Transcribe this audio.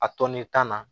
A tɔni tan na